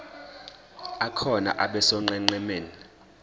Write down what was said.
akhona abe sonqenqemeni